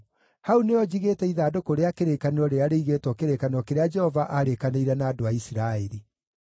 Hau nĩho njigĩte ithandũkũ rĩa kĩrĩkanĩro rĩrĩa rĩigĩtwo kĩrĩkanĩro kĩrĩa Jehova aarĩkanĩire na andũ a Isiraeli.”